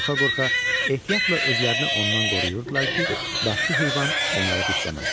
Qorxa-qorxa ehtiyatla özlərini ondan qoruyurdular ki, vəhşi heyvan onları dişləməsin.